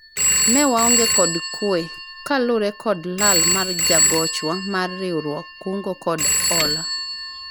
ne waonge kod kwe kaluwore kod lal mar jagochwa mar riwruog kungo kod hola